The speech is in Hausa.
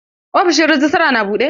Ofishin rejistra na buɗe?